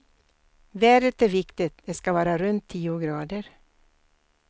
Vädret är viktigt, det ska vara runt tio grader.